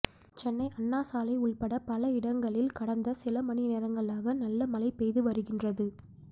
சென்னை அண்ணா சாலை உள்பட பல இடங்களில் கடந்த சில மணி நேரங்களாக நல்ல மழை பெய்து வருகின்றது